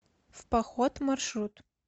в поход маршрут